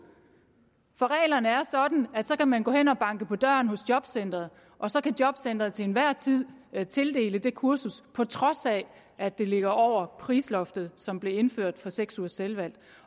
for reglerne er sådan at så kan man gå hen og banke på døren i jobcenteret og så kan jobcenteret til enhver tid tildele en det kursus på trods af at det ligger over prisloftet som blev indført for seks ugers selvvalgt